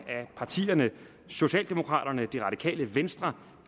partierne socialdemokraterne det radikale venstre